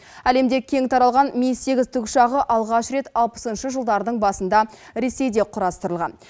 әлемде кең таралған ми сегіз тікұшағы алғаш рет алпысыншы жылдардың басында ресейде құрастырылған